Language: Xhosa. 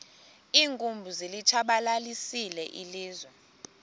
iinkumbi zilitshabalalisile ilizwe